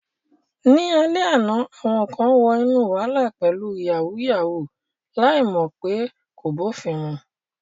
Ní alẹ́ àná, àwọn kan wọ inú wàhálà pẹ̀lú "yàwúyáwù ," láì mọ̀ pé kò bófin mu.